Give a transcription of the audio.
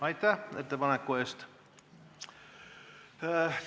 Aitäh ettepaneku eest!